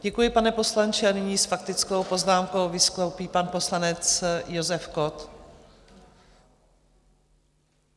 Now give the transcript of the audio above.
Děkuji, pane poslanče, a nyní s faktickou poznámkou vystoupí pan poslanec Josef Kott.